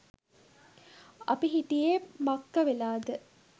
අපි හිටියෙ මක්ක වෙලාද